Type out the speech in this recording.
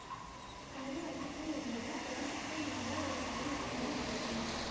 கரு அடுக்கு என்பது கருவுக்குள் உள்ள ஒரு வலைப்பின்னல் ஆகும்